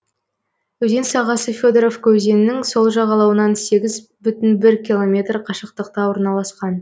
өзен сағасы федоровка өзенінің сол жағалауынан сегіз бүтін оннан бір километр қашықтықта орналасқан